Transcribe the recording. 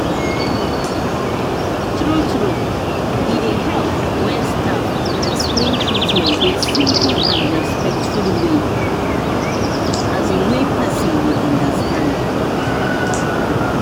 true true e dey help when staff explain treatment with simple and respectful way um wey person go understand.